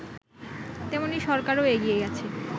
তেমনি সরকারও এগিয়ে গেছে